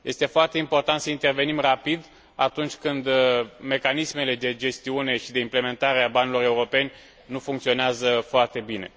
Este foarte important să intervenim rapid atunci când mecanismele de gestiune și de implementare a banilor europeni nu funcționează foarte bine.